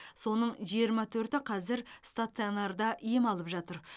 соның жиырма төрті қазір стационарда ем алып жатыр